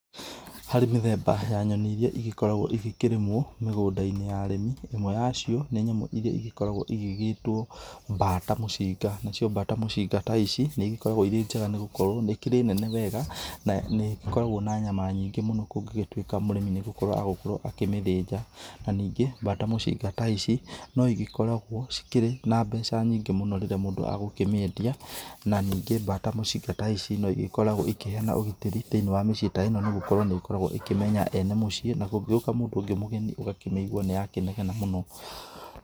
Harĩ mĩthemba ya nyoni ĩrĩa igĩkoragwo ikĩrĩmwo mĩgũnda-inĩ ya arĩmi imwe ya cio nĩ nyamũ ĩrĩa ĩgĩkoragwo ĩgĩgĩtwo bata mũcinga, nacio bata mũcinga ta ici nĩ ĩgĩkoragwo ĩrĩ njega nĩ gũkorwo nĩ ĩkĩrĩ nene wega na nĩ ĩkoragwo na nyama nyingĩ mũno kũngĩtuĩka mũrĩmi nĩgũkorwo agũkorwo akĩmĩthinja, na ningĩ bata mũcinga ta ici no igĩkoragwo cikĩrĩ na mbeca nyingĩ mũno rĩrĩa mũndũ agũkĩmĩendia na ningĩ bata mũcinga ta ici no ĩgĩkoragwo ikĩheana ũgitari thĩinĩ wa mĩciĩ ta eno nĩ gũkorwo nĩ ĩkoragwo ikĩmenya ene mũciĩ na kũngĩgĩoka mũndũ ũngĩ mũgeni ũgakĩmĩigũa nĩyakĩnegena mũno.